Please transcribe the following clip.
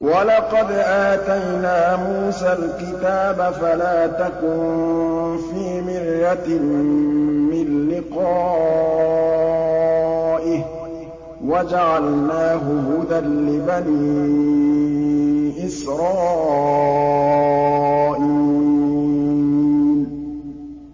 وَلَقَدْ آتَيْنَا مُوسَى الْكِتَابَ فَلَا تَكُن فِي مِرْيَةٍ مِّن لِّقَائِهِ ۖ وَجَعَلْنَاهُ هُدًى لِّبَنِي إِسْرَائِيلَ